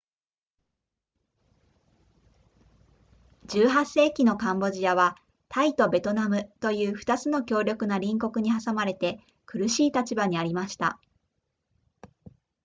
18世紀のカンボジアはタイとベトナムという2つの強力な隣国に挟まれて苦しい立場にありました